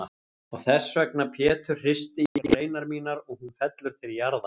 Og þessvegna Pétur hristi ég greinar mínar og hún fellur til jarðar.